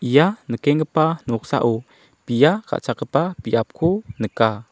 ia nikenggipa noksao bia ka·chakgipa biapko nika.